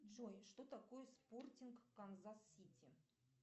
джой что такое спортинг канзас сити